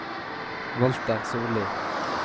Walter Solli